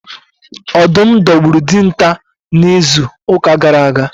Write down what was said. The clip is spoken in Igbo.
Ọdụm dogburu Dịnta na izu uka gara aga